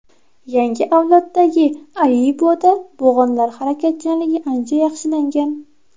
Yangi avloddagi Aibo‘da bo‘g‘inlar harakatchanligi ancha yaxshilangan.